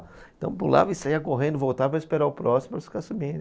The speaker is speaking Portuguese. Então pulava e saía correndo, voltava para esperar o próximo para ficar subindo.